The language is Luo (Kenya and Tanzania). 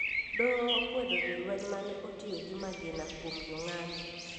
Doho okwedo jolweny mane otiyo gi magina kwom jong`anyo